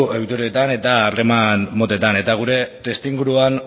ohituretan eta harreman motetan eta gure testuinguruan